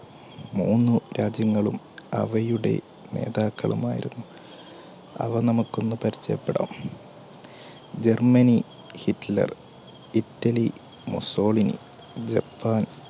മൂന്നു രാജ്യങ്ങളും അവയുടെ നേതാക്കളുമായിരുന്നു അവ നമുക്കൊന്ന് പരിചയപ്പെടാം. Germany, Hitler, Italy, Mussolini, Japan